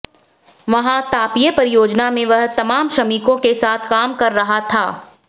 वहां तापीय परियोजना में वह तमाम श्रमिकों के साथ काम कर रहा था